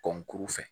Kɔnkuru fɛ